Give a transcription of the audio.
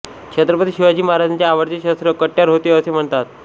छत्रपती शिवाजी महाराजांचे आवडते शस्त्र कट्यार होते असे म्हणतात